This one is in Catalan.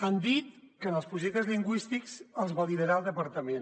han dit que els projectes lingüístics els validarà el departament